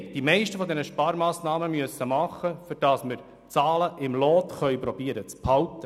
Die meisten dieser Sparmassnahmen mussten wir machen, um die Zahlen im Lot zu behalten.